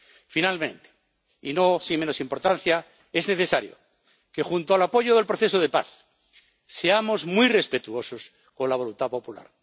Finalmente, y no con menos importancia, es necesario que, junto al apoyo del proceso de paz, seamos muy respetuosos con la voluntad popular.